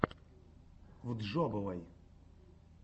вджобывай